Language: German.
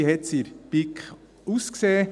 Wie hat es in der BiK ausgesehen?